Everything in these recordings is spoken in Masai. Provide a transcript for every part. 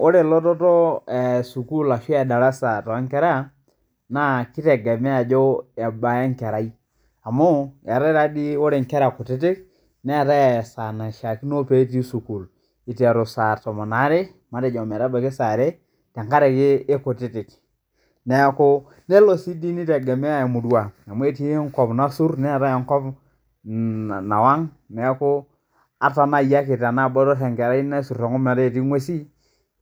Ore elototo e sukuul ashu edarasa te inkera, keitegemea ajo ebaa enkerai amuu eatae taa dei, ore inkera kutitik, neatae esaa naishaakino petii sukuul, eitaru saa tomon oare. matejo metabaki saa are, tengaraki ekutitik, neaku nelo sii dei neitegemea emurrua ,amu etii nkop nassur, neatae enkop nawang',neaku ata naii ake tenaa ebotorr enkerai nesur enkop metaa etii inguesi,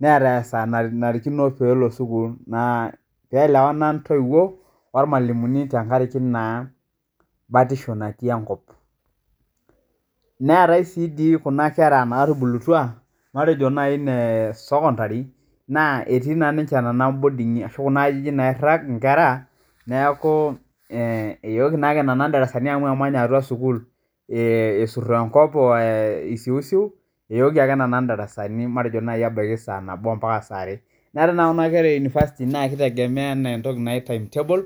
neata saa nanarikino peelo sukuul. naa keelewana intoiwo olmwalimuni tengaraki naa batisho natii enkop. Neatae sii dii kuna kera naatubulutwa, matejo nai nee sekondari, naa etii naa ninche nenea boding'i ashu ajijik nairag inkera, naaku eyeoki naa nena indarasani amu emanya atua sukuul, esur enkop o esiusiu, eyooki ake nena indarasani matejo nai ake ebaki saa nabo ompaka saa are, neatae naa kuna kera e unifasiti naa keitegemea enaa entoki naji timetable,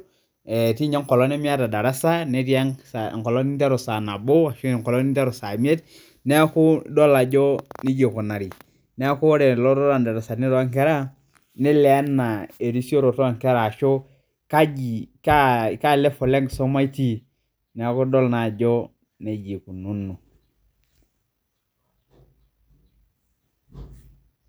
etii ninye enkolong nemieta endarasa, netii enkolong nintaru saa nabo, neatae enkolong nintaru saa imiet, naaku idol ajo neja eikunari. Naaku ore ilotot lo ndarasani too inkera neilio enaa erisioroto enkera ashu kaji, kaa level[cs[ enkisuma itii, naaku idol naa ajo neja eikununo.